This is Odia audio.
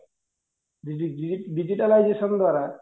digitalization ଦ୍ୱାରା